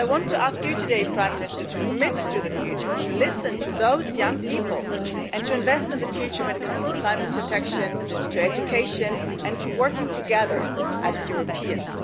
So I want to ask you today Prime Minister to commit to the future, to listen to those young people and to invest in the future when it comes to climate protection, to education and to working together as Europeans.